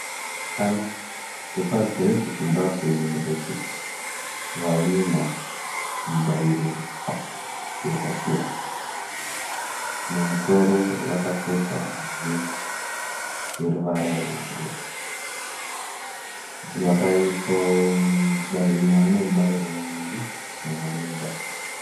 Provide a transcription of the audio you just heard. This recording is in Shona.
Vasikana vepaGreat Zimbabwe University vahwina mibairo yakasiyana. Mumusoro vakapfeka heti yeruvara rwebhuruu. Mumwe ane mibairo miviri, mumwe ane mubairo mumwe.